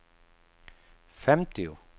femtio